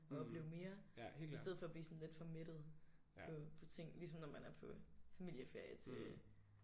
Og opleve mere i stedet for at blive sådan lidt for mættet på på ting ligesom når man er på familieferie til